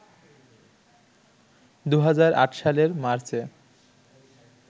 ২০০৮ সালের মার্চে